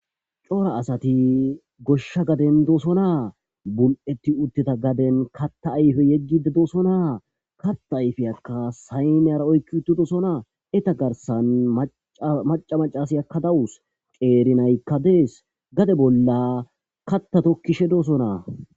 cora asati goshsha gaden dosonaa bul7etti utteta gaden katta ayfe yeggide doosonaa katta ayfeyakka saymeyara oykki uttidosonaa eta garsan maca macasi yakka dawus qeeri naykka dees gade bolla katta tokkishe doosonaa